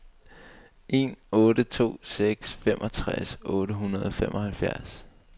en otte to seks femogtres otte hundrede og femoghalvfems